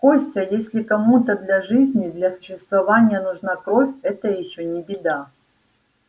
костя если кому-то для жизни для существования нужна кровь это ещё не беда